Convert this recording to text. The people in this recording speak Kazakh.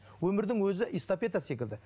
өмірдің өзі эстафета секілді